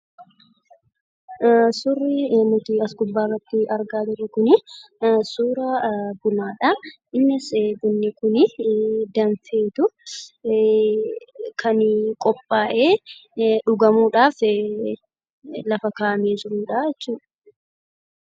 Suurri nuti as gubbaatti argaa jirru kuni suuraa bunaadha. Innis bunni danfeetu kan qophaa'e dhugamuudhaaf kan lafa kaa'amee jiruudha jechuudha.